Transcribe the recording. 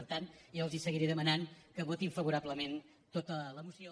per tant jo els seguiré demanant que votin favorablement tota la moció